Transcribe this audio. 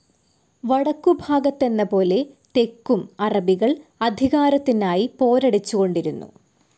വടക്കുഭാഗത്തെന്ന പോലെ തെക്കും, അറബികൾ അധികാരത്തിനായി പോരടിച്ചുകൊണ്ടിരുന്നു.